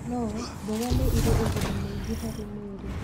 No, mboga nĩ ĩrĩ ũguni mũingĩ harĩ mwĩrĩ.